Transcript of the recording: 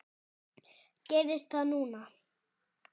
Gerist það núna?